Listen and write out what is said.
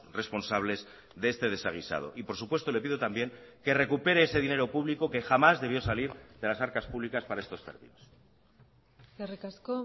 responsables de este desaguisado y por supuesto le pido también que recupere ese dinero público que jamás debió salir de las arcas públicas para estos términos eskerrik asko